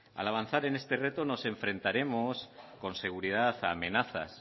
al avanzar en este reto nos enfrentaremos con seguridad a amenazas